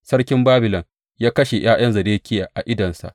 Sarkin Babilon ya kashe ’ya’yan Zedekiya a idonsa.